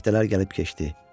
Həftələr gəlib keçdi.